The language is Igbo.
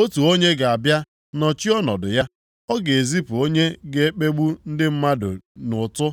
“Otu onye ga-abịa nọchie ọnọdụ ya, ọ ga-ezipụ onye ga-ekegbu ndị mmadụ nʼụtụ